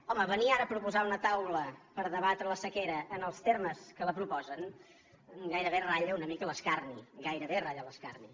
home venir ara a proposar una taula per debatre la sequera en els termes que la proposen gairebé ratlla una mica l’escarni gairebé ratlla l’escarni